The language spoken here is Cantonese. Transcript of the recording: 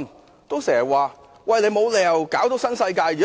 員，多次說沒有理由要扯上新世界。